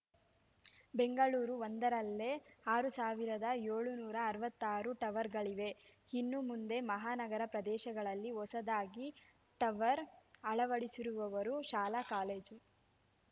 ಬೆಂಗಳೂರು ಒಂದರಲ್ಲೇ ಆರು ಸಾವಿರದ ಏಳುನೂರ ಅರವತ್ತಾರು ಟವರ್‌ಗಳಿವೆ ಇನ್ನು ಮುಂದೆ ಮಹಾನಗರ ಪ್ರದೇಶಗಳಲ್ಲಿ ಹೊಸದಾಗಿ ಟವರ್‌ ಅಳವಡಿಸುವವರು ಶಾಲಾ ಕಾಲೇಜು